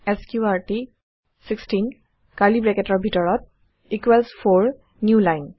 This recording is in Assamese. এছক্ৰুটি 16 কাৰ্লী ব্ৰেকেটৰ ভিতৰত ইকোৱেলছ 4 নিউ line